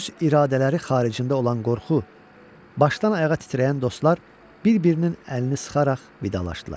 Öz iradələri xaricində olan qorxu başdan ayağa titrəyən dostlar bir-birinin əlini sıxaraq vidalaşdılar.